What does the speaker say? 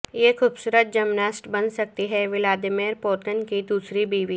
یہ خوبصورت جمناسٹ بن سکتی ہے ولادیمیر پوتن کی دوسری بیوی